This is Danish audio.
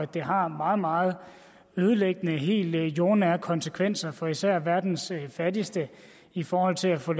det har meget meget ødelæggende og helt jordnære konsekvenser for især verdens fattigste i forhold til at få